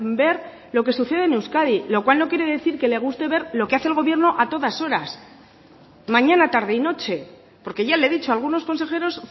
ver lo que sucede en euskadi lo cual no quiere decir que le guste ver lo que hace el gobierno a todas horas mañana tarde y noche porque ya le he dicho algunos consejeros